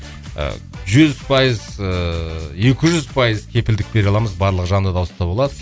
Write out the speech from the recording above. ыыы жүз пайыз ыыы екі жүз пайыз кепілдік бере аламыз барлығы жанды дауыста болады